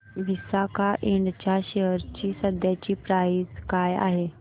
Visaka Ind च्या share ची सध्याची प्राइस काय आहे